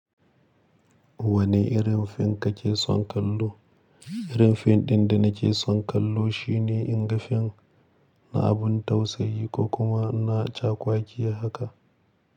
Wanne irin fim kake son kallo? Irin fim ɗin da nake son kallo shine in ga fim na abun tausayi ko kuma na cakwakiya haka.